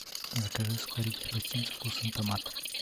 закажи сухарики хрустим со вкусом томат